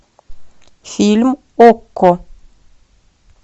фильм окко